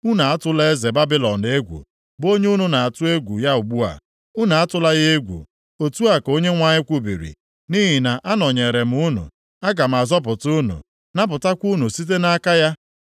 Unu atụla eze Babilọn egwu, bụ onye unu na-atụ egwu ya ugbu a. Unu atụla ya egwu, otu a ka Onyenwe anyị kwubiri, nʼihi na anọnyeere m unu, aga m azọpụta unu, napụtakwa unu site nʼaka ya.